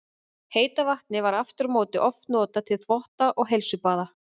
Heita vatnið var aftur á móti oft notað til þvotta og heilsubaða.